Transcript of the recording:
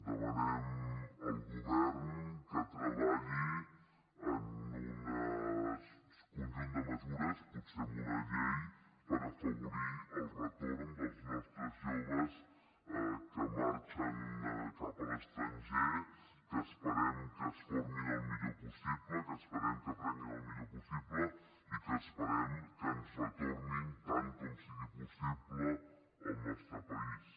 demanem al govern que treballi en un conjunt de mesures potser en una llei per afavorir el retorn dels nostres joves que marxen cap a l’estranger que esperem que es formin el millor possible que esperem que aprenguin el millor possible i que esperem que ens retornin tant com sigui possible al nostre país